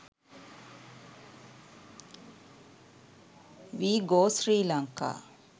we go srilanka